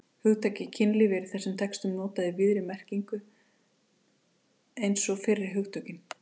Hugtakið kynlíf er í þessum textum notað í víðri merkinu eins og fyrri hugtökin.